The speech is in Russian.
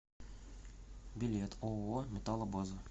билет ооо металлобаза